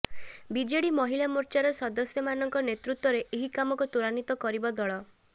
BJD ମହିଳା ମୋର୍ଚ୍ଚାର ସଦସ୍ୟମାନଙ୍କ ନେତୃତ୍ବରେ ଏହି କାମକୁ ତ୍ୱରାନ୍ୱିତ କରିବ ଦଳ